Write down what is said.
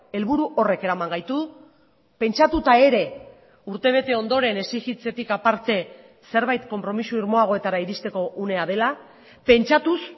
helburu horrek eraman gaitu pentsatuta ere urtebete ondoren exijitzetik aparte zerbait konpromiso irmoagoetara iristeko unea dela pentsatuz